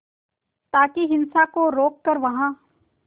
ताकि हिंसा को रोक कर वहां